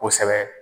Kosɛbɛ